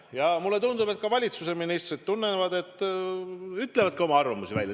Ja mulle tundub, et ka valitsuse ministrid tunnevad nii ja ütlevad oma arvamuse välja.